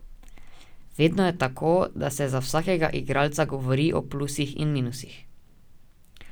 Vedno je tako, da se za vsakega igralca govori o plusih in minusih.